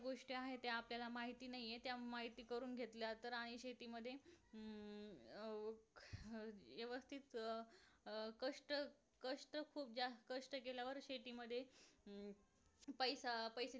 गोष्ट्या आहेत त्या आपल्याला माहिती नाहीयेत त्या आपल्याला माहिती करून घेतल्या आणि शेतीमध्ये अं हम्म अर व्यवस्थित अं अं कष्ट कष्ट कष्ट खूप जास्त कष्ट केल्यावर शेती मध्ये अं पैसा पैसा